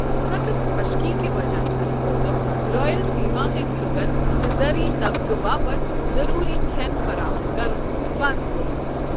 سخٕت خۄشکی کہِ وجہ سۭتۍ اوسکھ رائل سیما کٮ۪ن لوٗکن تہٕ زرعی طبقہٕ باپتھ ضروٗری کھٮ۪ن فراہم کرُن بنٛد کوٚرمُت۔